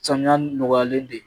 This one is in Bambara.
Samiya nɔgɔyalen de